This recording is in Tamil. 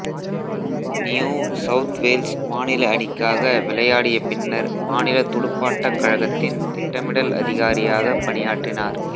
நியூ சவுத் வேல்ஸ் மாநில அணிக்காக விளையாடிய பின்னர் மாநில துடுப்பாட்டக் கழகத்தின் திட்டமிடல் அதிகாரியாகப் பணியாற்றினார்